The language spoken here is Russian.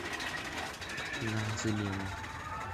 на замену